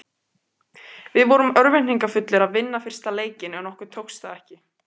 Við vorum örvæntingarfullir að vinna fyrsta leikinn en okkur tókst það ekki.